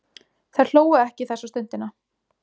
Þær hlógu ekki þessa stundina.